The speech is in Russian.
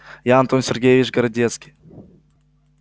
я антон сергеевич городецкий